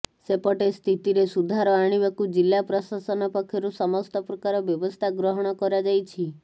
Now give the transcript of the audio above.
ସେପଟେ ସ୍ଥିତିରେ ସୁଧାର ଆଣିବାକୁ ଜିଲ୍ଲା ପ୍ରଶାସନ ପକ୍ଷରୁ ସମସ୍ତ ପ୍ରକାର ବ୍ୟବସ୍ଥା ଗ୍ରହଣ କରାଯାଇଛି